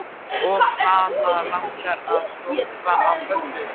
Og hana langar að hrópa af fögnuði.